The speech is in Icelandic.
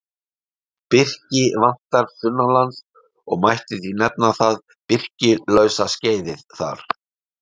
Birki vantar sunnanlands og mætti því nefna það birkilausa skeiðið þar.